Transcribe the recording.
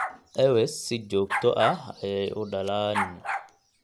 Ewes si joogto ah ayey u dhalaan.